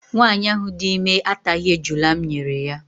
Nwaanyị ahụ dị ime ataghị ejula m nyere ya.